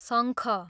शङ्ख